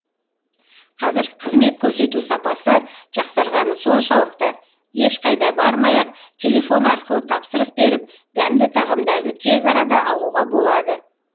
қазір қызмет көрсету сапасы жақсарғаны соншалықты ешқайда бармай ақ телефон арқылы тапсырыс беріп дәмді тағамдарды тез арада алуға болады